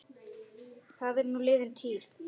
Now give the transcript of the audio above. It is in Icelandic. Það er nú liðin tíð.